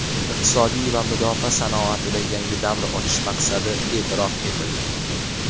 iqtisodiy va mudofaa sanoatida yangi davr ochish maqsadi e’tirof etildi.